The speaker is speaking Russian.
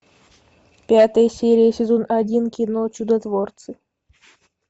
пятая серия сезон один кино чудотворцы